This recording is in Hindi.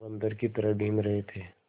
बंदर की तरह बीन रहे थे